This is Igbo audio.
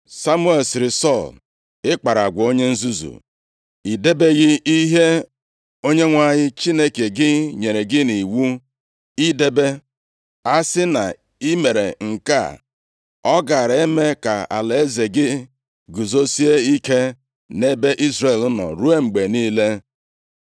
Samuel sịrị Sọl, “Ị kpara agwa onye nzuzu. I debeghị ihe Onyenwe anyị Chineke gị nyere gị nʼiwu idebe. A si na i mere nke a, ọ gaara eme ka alaeze gị guzosie ike nʼebe Izrel nọ ruo mgbe niile.